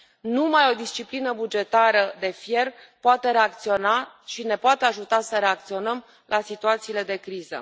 Numai o disciplină bugetară de fier poate reacționa și ne poate ajuta să reacționăm la situațiile de criză.